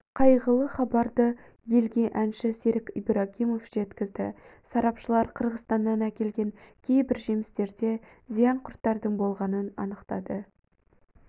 қайғылы хабарды елге әнші серік ибрагимов жеткізді сарапшылар қырғызстаннан әкелген кейбір жемістерде зиян құрттардың болғанын анықтады